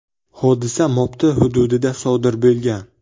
Hodisa Mopti hududida sodir bo‘lgan.